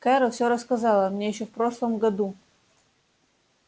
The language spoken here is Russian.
кэро все рассказала мне ещё в прошлом году